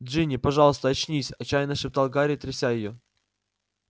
джинни пожалуйста очнись отчаянно шептал гарри тряся её